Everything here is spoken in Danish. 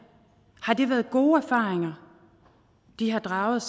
har det været gode erfaringer de har draget